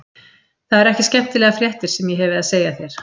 Það eru ekki skemmtilegar fréttir sem ég hefi að segja þér.